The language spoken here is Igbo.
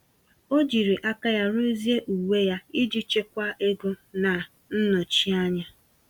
O jiri aka ya ruzie uwe ya iji chekwaa ego na nnọchi anya.